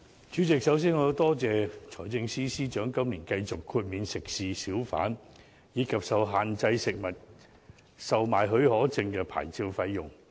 主席，首先，我感謝財政司司長今年繼續豁免食肆、小販，以及受限制食物售賣許可證的牌照費用。